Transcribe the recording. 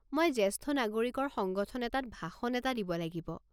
মই জেষ্ঠ নাগৰিকৰ সংগঠন এটাত ভাষণ এটা দিব লাগিব।